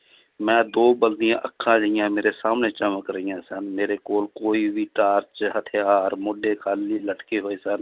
ਮੈਂ ਦੋ ਬਲਦੀਆਂ ਅੱਖਾਂ ਜਿਹੀਆਂ ਮੇਰੇ ਸਾਹਮਣੇ ਚਮਕ ਰਹੀਆਂ ਸਨ, ਮੇਰੇ ਕੋਲ ਕੋਈ ਵੀ ਟਾਰਚ ਹਥਿਆਰ ਮੋਢੇ ਖਾਲੀ ਲਟਕੇ ਹੋਏ ਸਨ।